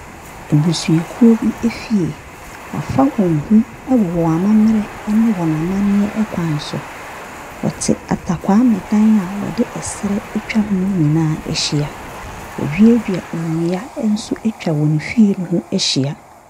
Abusuakuo bi fie, wɔafa wɔn ho wɔn amammerɛ ne wɔn amanneɛ kwan so. Wɔte atakwaame dan a wɔde serɛ atwa ho nyinaa ahyia. Wɔaduadua nnua nso atwa wɔn fie no ho ahyia.